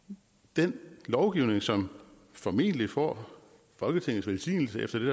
den lovgivning som formentlig får folketingets velsignelse efter det